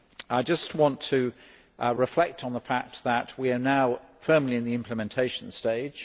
I just want to reflect on the fact that we are now firmly in the implementation stage.